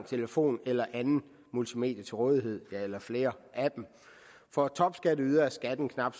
telefon eller et andet multimedie til rådighed eller flere af dem for topskatteydere er skatten knap